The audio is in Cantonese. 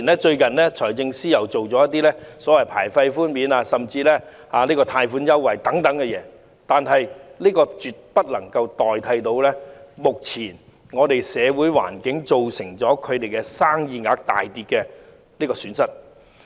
即使財政司司長最近推出牌費豁免及貸款優惠等措施，亦絕對無法彌補目前社會環境造成生意額大跌的損失。